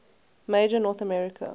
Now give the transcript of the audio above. major north american